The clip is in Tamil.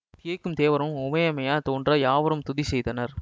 திகைக்கும் தேவர்முன் உமையம்மையார் தோன்ற யாவரும் துதி செய்தனர்